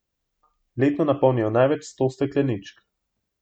Letno napolnijo največ sto stekleničk.